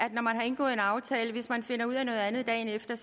at når man har indgået en aftale hvis man finder ud af noget andet dagen efter